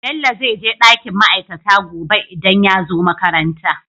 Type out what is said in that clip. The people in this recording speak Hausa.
Bello zai je dakin ma'aikata gobe idan yazo makaranta